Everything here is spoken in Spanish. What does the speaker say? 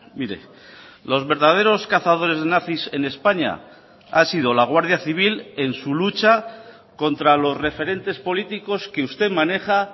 mire los verdaderos cazadores nazis en españa ha sido la guardia civil en su lucha contra los referentes políticos que usted maneja